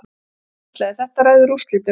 Hann hvíslaði: Þetta ræður úrslitum.